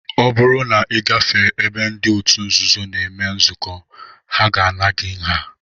Ọ bụrụ na ị gafee ebe ndị otu nzuzo na-eme nzukọ, ha ga-ana gị nha